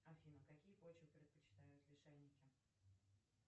афина какие почвы предпочитают лишайники